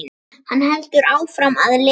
Hann heldur áfram að lesa: